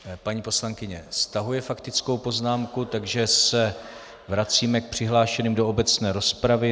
Paní poslankyně stahuje faktickou poznámku, takže se vracíme k přihlášeným do obecné rozpravy.